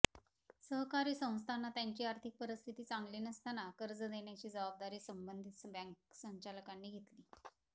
सहकारी संस्थांना त्यांची आर्थिक परिस्थिती चांगली नसताना कर्ज देण्याची जबाबदारी संबंधित बँक संचालकांनी घेतली